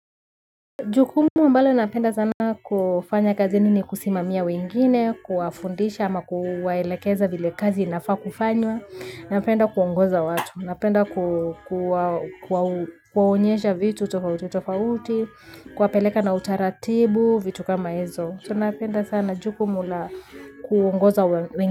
Jukumu ambalo napenda sana kufanya kazini ni kusimamia wengine, kuwafundisha ama kuwaelekeza vile kazi nafaa kufanywa. Napenda kuongoza watu, napenda kuwaonyesha vitu tofauti tofauti, kuwapeleka na utaratibu, vitu kama hizo. So napenda sana jukumu la kuongoza wengine.